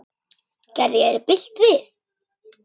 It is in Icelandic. Gerði ég þér bylt við?